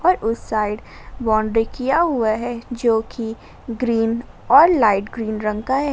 और उस side boundary किया हुआ है जो कि ग्रीन और लाइट ग्रीन रंग का है।